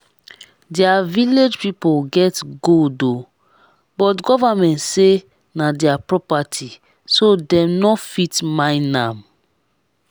dia village people get gold oo but government say na dia property so dem no fit mine am